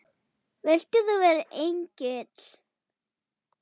Vilt þú vera Egill?